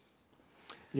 já